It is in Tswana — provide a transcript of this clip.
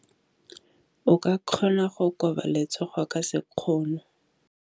O ka kgona go koba letsogo ka sekgono.